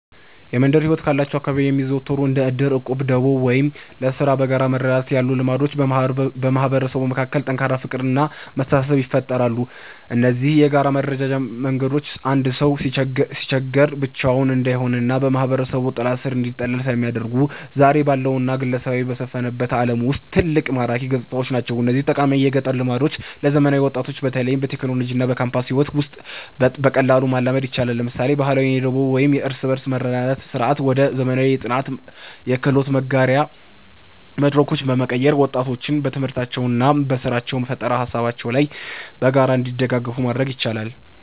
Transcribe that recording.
የመንደር ሕይወት ካሏቸው አካባቢዎች የሚዘወተሩት እንደ ዕድር፣ ዕቁብና ደቦ (ለሥራ በጋራ መረዳዳት) ያሉ ልማዶች በማህበረሰቡ መካከል ጠንካራ ፍቅርና መተሳሰብን ይፈጥራሉ። እነዚህ የጋራ መረዳጃ መንገዶች አንድ ሰው ሲቸገር ብቻውን እንዳይሆንና በማህበረሰቡ ጥላ ሥር እንዲጠለል ስለሚያደርጉ፣ ዛሬ ባለውና ግለሰባዊነት በሰፈነበት ዓለም ውስጥ ትልቅ ማራኪ ገጽታዎች ናቸው። እነዚህን ጠቃሚ የገጠር ልማዶች ለዘመናዊ ወጣቶች በተለይም በቴክኖሎጂና በካምፓስ ሕይወት ውስጥ በቀላሉ ማላመድ ይቻላል። ለምሳሌ፣ ባህላዊውን የደቦ ወይም የእርስ በርስ መረዳዳት ሥርዓት ወደ ዘመናዊ የጥናትና የክህሎት መጋሪያ መድረኮች በመቀየር፣ ወጣቶች በትምህርታቸውና በሥራ ፈጠራ ሃሳቦቻቸው ላይ በጋራ እንዲደጋገፉ ማድረግ ይቻላል።